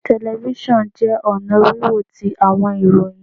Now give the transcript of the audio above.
Telifisonu jẹ ọna wiwo ti awọn ìròyìn